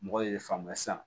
Mɔgɔ ye ne faamuya sisan